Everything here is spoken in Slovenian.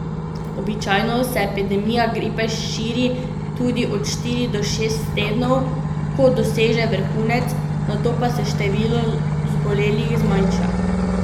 Običajno se epidemija gripe širi tudi od štiri do šest tednov, ko doseže vrhunec, nato pa se število zbolelih zmanjša.